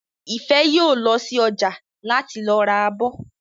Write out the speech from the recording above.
Ìfẹ́ yóò lọ sí ọjà láti lọ ra abọ́